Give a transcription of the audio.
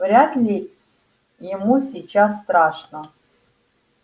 вряд ли ему сейчас страшно